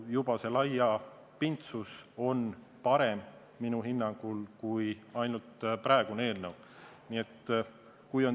Juba selle laiapindsuse tõttu on see minu hinnangul parem kui praegune eelnõu.